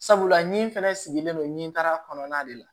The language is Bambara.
Sabula ni fɛnɛ sigilen don ɲɛtara kɔnɔna de la